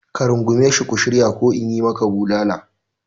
Ka rungume shi ku shirya ko in yi maka bulala!